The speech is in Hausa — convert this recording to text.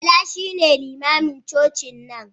Bala shine limamin cocin nan.